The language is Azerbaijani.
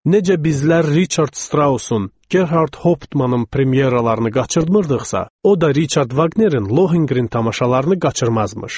Necə bizlər Richard Straussun, Gerhard Hauptmannın premyeralarını qaçırmırdıqsa, o da Richard Wagnerin Lohengrin tamaşalarını qaçırmazmış.